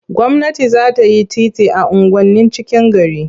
Gwamnati za ta yi titi a unguwannin cikin gari.